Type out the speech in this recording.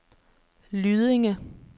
Lydinge